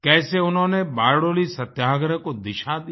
कैसे उन्होंने बारडोली सत्याग्रह को दिशा दी